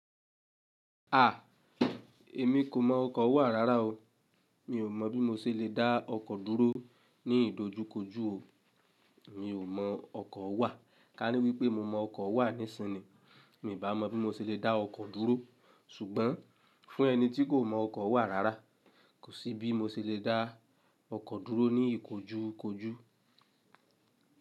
À, èmi kò mọ ọkọ̀ wà rárá o. Mi ò mọ̀ bí mo ṣe lè dá ọkọ̀ dúró ní ìdojúkojú o. Mi ò mọ ọkọ̀ wà. Ka ní wípé mo mọ ọkọ̀ wà nisin ni mi bá mọ̀ bí mo ṣe lè dá ọkọ̀ dúró. Ṣùgbọ́n fún ẹni tí kò mọ ọkọ̀ wà rárá, kò sí bí mo ṣe lè dá ọkọ̀ dúró ní ìkojúkojú.